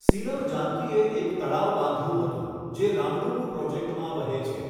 સીલમ જાનકીએ એક તળાવ બાંધ્યું હતું જે રામડુગુ પ્રોજેક્ટમાં વહે છે.